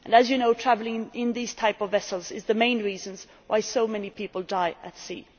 As you know, the use of these types of vessel is the main reason why so many people die at sea.